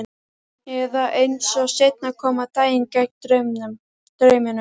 Eða, eins og seinna kom á daginn, gegn draumunum.